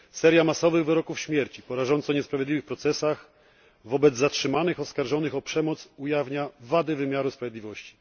Seria masowych wyroków śmierci po rażąco niesprawiedliwych procesach wobec zatrzymanych oskarżonych o przemoc ujawnia wady wymiaru sprawiedliwości.